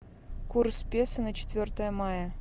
курс песо на четвертое мая